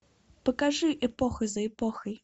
покажи эпоха за эпохой